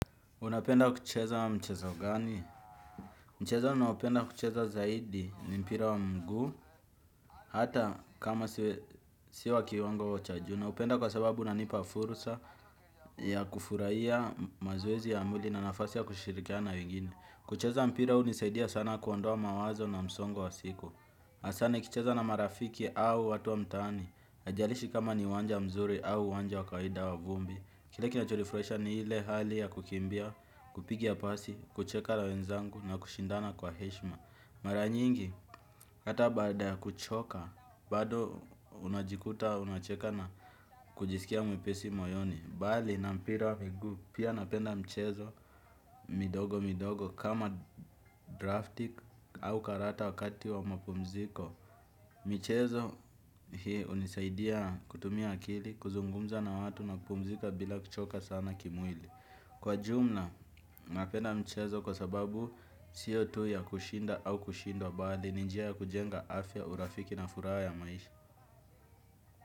Unapenda kucheza mchezo gani? Mchezo ninaopenda kucheza zaidi ni mpira wa mguu. Hata kama sio wa kiwango wa cha juu naupenda kwa sababu unanipa furusa ya kufuraia mazoezi ya mwili na nafasi ya kushirikiana na wengine. Kucheza mpira hunisaidia sana kuondoa mawazo na msongo wa siku. Asaa nikicheza na marafiki au watu wa mtaani. Haijarishi kama ni uwanja mzuri au uwanja wa kaida wa vumbi. Kile kinachonifraisha ni hile hali ya kukimbia, kupiga pasi, kucheka na wenzangu na kushindana kwa heshima. Mara nyingi, hata baada ya kuchoka, bado unajikuta, unacheka na kujisikia mwepesi moyoni bali, na mpira wa miguu, pia napenda mchezo, midogo midogo, kama draftik au karata wakati wa mapumziko. Michezo, hii, unisaidia kutumia akili, kuzungumza na watu na kupumzika bila kuchoka sana kimwili. Kwa jumla, napenda mchezo kwa sababu sio tu ya kushinda au kushindwa bali ni njia ya kujenga afya urafiki na furaha ya maisha.